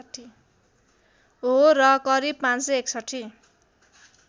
हो र करिव ५६१